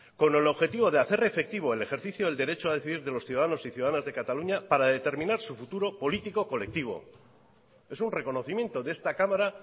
con el objetivo de hacer efectivo el ejercicio del derecho a decidir de los ciudadanos y ciudadanas de cataluña para determinar su futuro político colectivo es un reconocimiento de esta cámara